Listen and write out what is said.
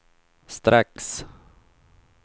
strax